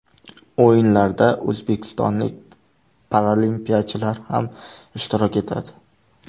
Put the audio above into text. O‘yinlarda o‘zbekistonlik paralimpiyachilar ham ishtirok etadi.